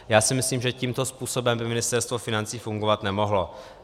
Já si myslím, že tímto způsobem by Ministerstvo financí fungovat nemohlo.